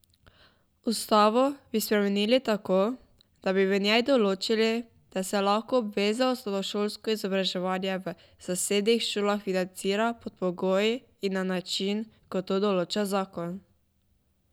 Ustavo bi spremenili tako, da bi v njej določili, da se lahko obvezno osnovnošolsko izobraževanje v zasebnih šolah financira pod pogoji in na način, kot to določa zakon.